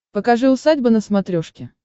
покажи усадьба на смотрешке